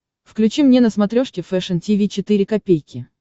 включи мне на смотрешке фэшн ти ви четыре ка